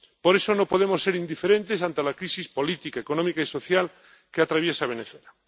Por eso no podemos ser indiferentes ante la crisis política, económica y social que atraviesa Venezuela.